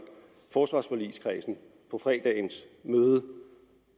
forsvarsforligskredsen på fredagens møde